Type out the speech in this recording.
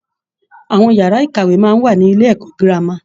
Àwọn ìyàrá-ìkàwé máa ń wà ní Ilé-ẹ̀kọ́ gírámà